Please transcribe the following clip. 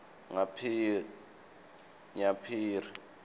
nyaphiri